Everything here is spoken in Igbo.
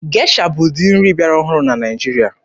Gesha bụ ụdị nri bịara ọhụrụ na Naịjirịa.